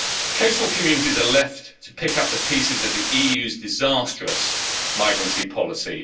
Coastal communities are left to pick up the pieces of the EU's disastrous migrancy policy.